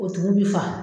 O tugu bi fa